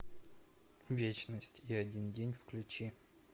вечность и один день включи